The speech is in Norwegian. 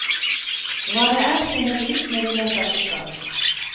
Hva det er finner du ut når du leser boka.